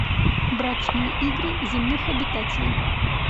брачные игры земных обитателей